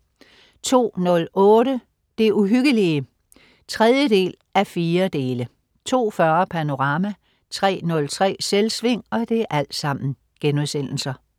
02.08 Det Uhyggelige 3:4* 02.40 Panorama* 03.03 Selvsving*